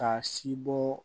K'a si bɔ